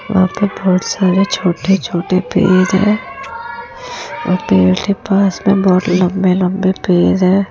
वहां पर पाठशाला छोटे-छोटे पेड़ है और पेड़ के पास में बहुत लंबे-लंबे पेड़ है।